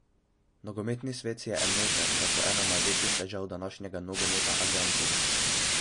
Nogometni svet si je enoten, da so ena največjih težav današnjega nogometa agenti.